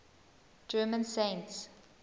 german saints